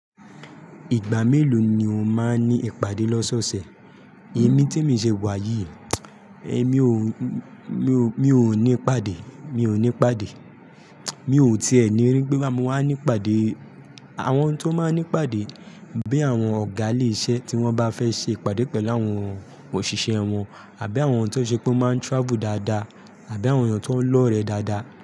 Ìgbà mèlò ní o ma n ni ìpàdé lọsẹsẹ. Èmi tí mi ṣe wà yìí, èmi oo mi ò ní ìpàdé, mi ò ní ìpàdé. Mi ò ti ẹni rí pé bóyá mo wá ní ìpàdé. Àwọn tó máa ń ní ìpàdé bí i àwọn ọ̀gá ilé iṣẹ́ tí wọ́n bá fẹ́ ṣe ìpàdé pẹ̀lú àwọn òṣìṣẹ́ wọn àbí àwọn tó ṣe pé wọ́n máa ń travel dáadáa àbí àwọn èèyàn tó ń lọ́rẹ dáadáa.